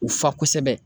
U fa kosɛbɛ